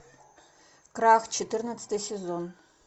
крах четырнадцатый сезон